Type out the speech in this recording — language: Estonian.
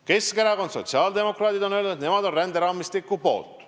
Keskerakond ja sotsiaaldemokraadid on öelnud, et nemad on ränderaamistiku poolt.